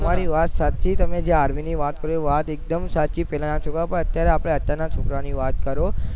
તમારી વાત સાચી છે તમે જે army ની વાત એકદમ સાચી પેલાના છોકરાઓ પણ આપડે અત્યાર ના છોકરાઓ ની વાત કરો